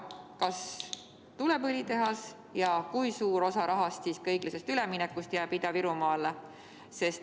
Kas tuleb õlitehas ja kui suur osa õiglase ülemineku fondi rahast jääb Ida‑Virumaale?